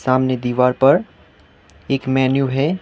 सामने दीवार पर एक मेन्यू है।